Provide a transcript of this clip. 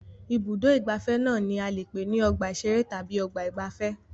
Ibùdó-ìgbafẹ́ náà ni a lè pè ní ọgbà-ìṣeré tàbí ọgbà-ìgbafẹ́.